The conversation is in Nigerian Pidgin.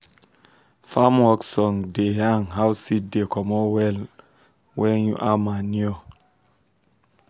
farm work song da yan how seed da comot wella wen u add manure